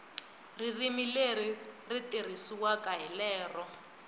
ririmi leri tirhisiwaka hi lero